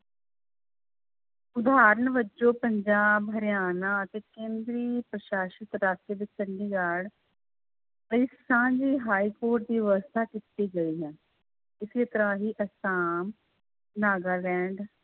ਉਦਾਹਰਨ ਵਜੋਂ ਪੰਜਾਬ ਹਰਿਆਣਾ ਅਤੇ ਕੇਂਦਰੀ ਪ੍ਰਸ਼ਾਸ਼ਿਤ ਚੰਡੀਗੜ੍ਹ ਇਸ ਸਥਾਨ ਲਈ ਹਾਈਕੋਰਟ ਦੀ ਵਿਵਸਥਾ ਕੀਤੀ ਗਈ ਹੈ ਇਸੇ ਤਰ੍ਹਾਂ ਹੀ ਆਸਾਮ, ਨਾਗਾਲੈਂਡ,